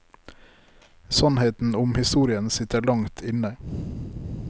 Sannheten om historien sitter langt inne.